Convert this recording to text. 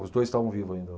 Os dois estavam vivos ainda.